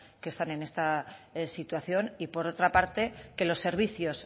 que están en esta situación y por otra parte que los servicios